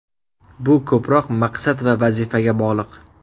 Bu ko‘proq maqsad va vazifaga bog‘liq.